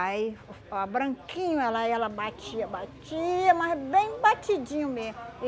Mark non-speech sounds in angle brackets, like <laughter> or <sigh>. Aí <unintelligible> branquinho ela ela batia, batia, mas bem batidinho mesmo.